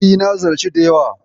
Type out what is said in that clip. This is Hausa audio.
E, na ziyarci da yawa.